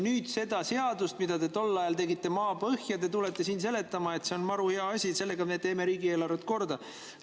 Nüüd seda seadust, mida te tol ajal tegite maapõhja, te tulete siin seletama, et see on maru hea asi, sellega me teeme riigieelarve korda.